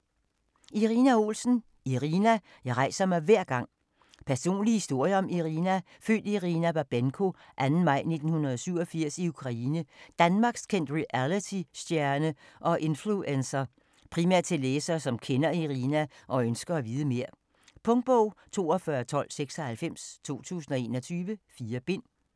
Olsen, Irina: Irina: jeg rejser mig hver gang Personlig historie om Irina, født Irina Babenko 2. maj 1987 i Ukraine, danmarkskendt realitystjerne og influencer. Primært til læsere, som kender Irina og ønsker at vide mere. Punktbog 421296 2021. 4 bind.